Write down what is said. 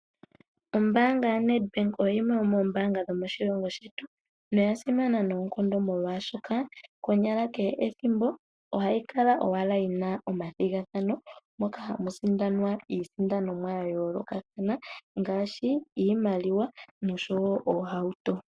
Oombaanga yaNedbank oyimwe yomoombanga dho moshilongo shetu noyasima noonkondo molwashoka, konyala kehe ethimbo ohayi kala owala yina omathigathano moka hamusindanwa iisindanonwa ya yoolokathana ngaashi iimaliwa nosho wo oohauto.